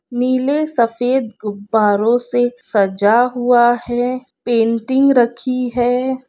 नीले सफेद गुबारों से सजा हुआ है। पेंटिंग रखी है।